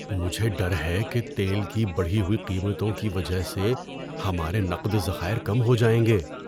مجھے ڈر ہے کہ تیل کی بڑھی ہوئی قیمتوں کی وجہ سے ہمارے نقد ذخائر کم ہو جائیں گے۔